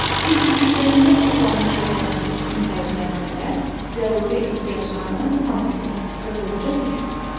Çünki büdcəsində toplanmış vəsaiti düzgün xərcləyən ailə zəruri ehtiyaclarını tam ödəyir və borca düşmür.